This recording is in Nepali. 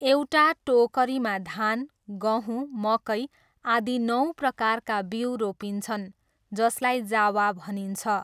एउटा टोकरीमा धान, गहुँ, मकै आदि नौ प्रकारका बीउ रोपिन्छन् जसलाई जावा भनिन्छ।